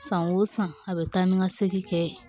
San o san a bɛ taa ni ka segin kɛ